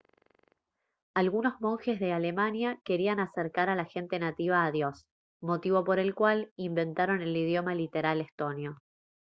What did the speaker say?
algunos monjes de alemania querían acercar a la gente nativa a dios motivo por el cual inventaron el idioma literal estonio